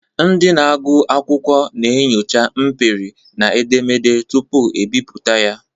Ndị na-agụ akwụkwọ na-enyocha mperi na ederede tupu ebipụta ya.